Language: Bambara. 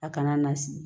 A kana na sigi